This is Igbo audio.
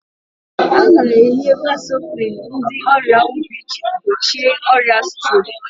A na-enye vasoprin ndị ọrịa obi iji gbochie ọrịa strok